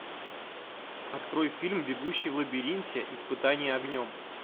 открой фильм бегущий в лабиринте испытание огнем